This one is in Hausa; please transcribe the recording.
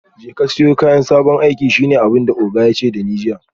Jeka siyo sabon kayan aiki shine abinda oga yace dani jiya